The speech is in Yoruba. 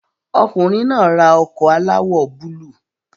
Ọkùnrin náà ra ọkọ̀ aláwọ̀ búlúù